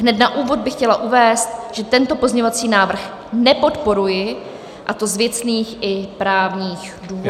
Hned na úvod bych chtěla uvést, že tento pozměňovací návrh nepodporuji, a to z věcných i právní důvodů.